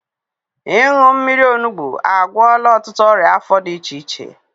Ịṅụ mmiri onugbu agwọla ọtụtụ ọrịa afọ dị iche iche